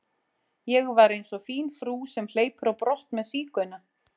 Ég var einsog fín frú sem hleypur á brott með sígauna.